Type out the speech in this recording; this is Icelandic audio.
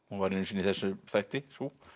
hún var einu sinni í þessum þætti sú